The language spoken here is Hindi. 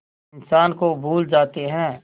इंसान को भूल जाते हैं